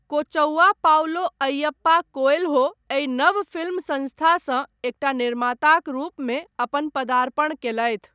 Kochavva Paulo Ayyappa Coelho एहि नव film संस्थासँ एकटा निर्माताक रूपमे अपन पदार्पण कयलथि।